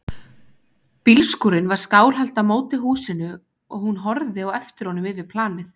Bílskúrinn var skáhallt á móti húsinu og hún horfði á eftir honum yfir planið.